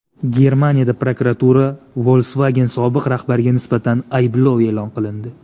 Germaniyada prokuratura Volkswagen sobiq rahbariga nisbatan ayblov e’lon qilindi.